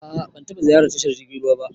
A'a ban taba ziyarar tashar jirgin ruwa ba.